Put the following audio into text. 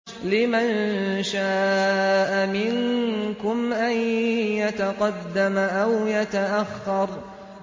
لِمَن شَاءَ مِنكُمْ أَن يَتَقَدَّمَ أَوْ يَتَأَخَّرَ